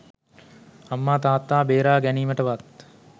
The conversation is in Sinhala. අම්මා තාත්තා බේරා ගැනීමටවත්